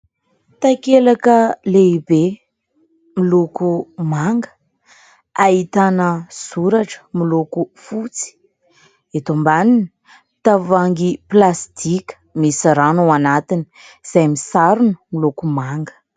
Takelaka lehibe, miloko manga, ahitana soratra miloko fotsy. Eto ambaniny, tavoangy plastika misy rano ao anatiny, izay ny sarony miloko manga.